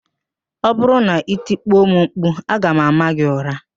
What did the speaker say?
Ọ bụrụ na i tikpo m mkpu, aga m ámá gị ụra